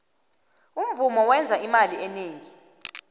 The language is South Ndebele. umvumo wenza imali eningi